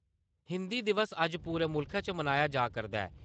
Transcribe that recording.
हिन्दी दिवस अज्ज पूरे मुल्खै च मनाया जा करदा ऐ।